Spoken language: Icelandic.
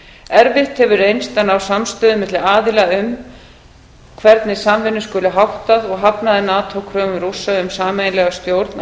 erfitt hefur reynst að ná samstöðu milli aðila um hvernig samvinnu skuli háttað og hafnaði nato kröfum rússa um sameiginlega stjórn